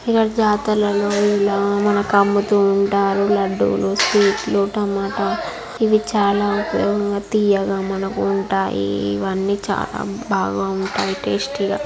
ఇక్కడ జాతరలో ఇలా మనకు అమ్ముతూ ఉంటారు లడ్డూలు స్వీట్లు టమాట ఇవి చాలా ఉపయోగంగా తియ్యగా మనకు ఉంటాయి. ఇవన్నీ చాలా బాగా ఉంటాయి టేస్టి గా .